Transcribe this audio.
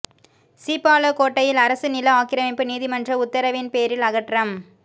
சீப்பாலக்கோட்டையில் அரசு நில ஆக்கிரமிப்பு நீதிமன்ற உத்தரவின் பேரில் அகற்றம்